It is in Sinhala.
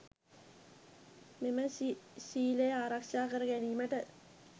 මෙම ශීලය ආරක්‍ෂා කර ගැනීමට